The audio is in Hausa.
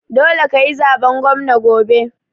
Dole kayi zaben gwamna gobe